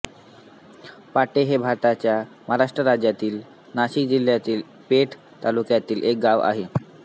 पाटे हे भारताच्या महाराष्ट्र राज्यातील नाशिक जिल्ह्यातील पेठ तालुक्यातील एक गाव आहे